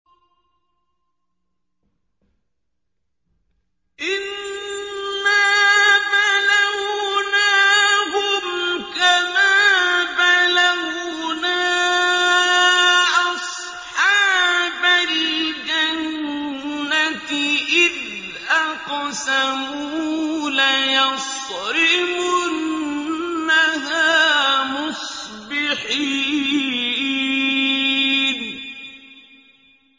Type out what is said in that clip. إِنَّا بَلَوْنَاهُمْ كَمَا بَلَوْنَا أَصْحَابَ الْجَنَّةِ إِذْ أَقْسَمُوا لَيَصْرِمُنَّهَا مُصْبِحِينَ